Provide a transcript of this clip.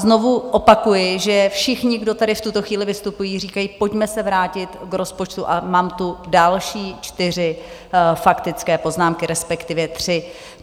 Znovu opakuji, že všichni, kdo tady v tuto chvíli vystupují, říkají: Pojďme se vrátit k rozpočtu, a mám tu další čtyři faktické poznámky, respektive tři.